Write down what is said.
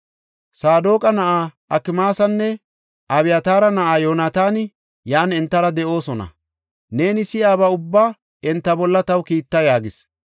Saadoqa na7aa Akmaasinne Abyataara na7aa Yoonataani yan entara de7oosona; neeni si7iyaba ubbaa enta bolla taw kiitta” yaagis.